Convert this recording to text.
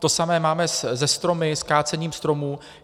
To samé máme se stromy, s kácením stromů.